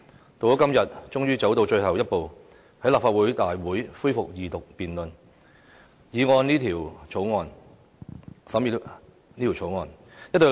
到了今天，終於走到最後一步，在立法會大會恢復《條例草案》的二讀辯論。